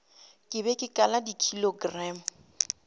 ke be ke kala dikilogramo